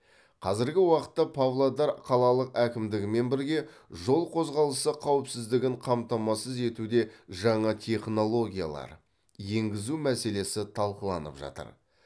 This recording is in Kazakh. қазіргі уақытта павлодар қалалық әкімдігімен бірге жол қозғалысы қауіпсіздігін қамтамасыз етуде жаңа технологиялар енгізу мәселесі талқыланып жатыр